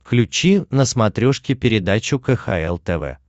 включи на смотрешке передачу кхл тв